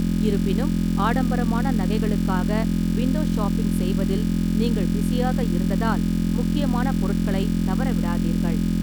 இருப்பினும், ஆடம்பரமான நகைகளுக்காக விண்டோ ஷாப்பிங் செய்வதில் நீங்கள் பிஸியாக இருந்ததால் முக்கியமான பொருட்களைத் தவறவிடாதீர்கள்.